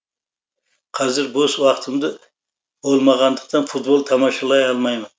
қазір бос уақытымды болмағандықтан футбол тамашалай алмаймын